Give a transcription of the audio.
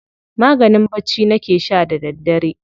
Maganin bacci nake sha da daddare.